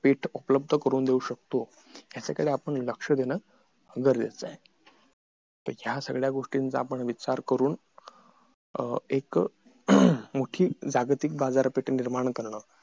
पेठ उपलब्ध करून देऊ शकतो याच्या कडे आपण लक्ष देणं गरजेच आहे तर ह्या सगळ्या गोष्टींचा विचार करून एक मोठी जागतिक बाजारपेट निर्माण करणं पेठ उपलब्ध करून देऊ शकतो